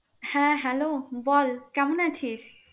হ্যা hello বল কেমন আছিস?